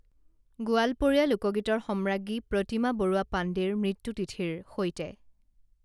গোৱালপৰীয়া লোকগীতৰ সম্ৰাজ্ঞী প্ৰতিমা বৰুৱা পাণ্ডেৰ মৃত্যু তিথিৰ সৈতে